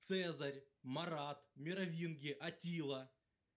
цезарь марат меровинги аттила